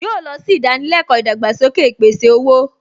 Yóò lọ sí ìdánilẹ́kọ̀ọ́ ìdàgbàsókè ìpèsè-owó